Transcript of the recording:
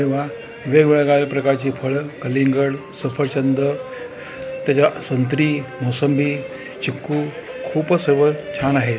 जेव्हा वेगवेगळ्या प्रकारच्या फळ कलिंगड सफरचंद तेज्या- संत्री मोसंबी चिकू खूपच सर्व छान आहे.